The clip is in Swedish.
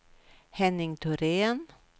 Henning Thorén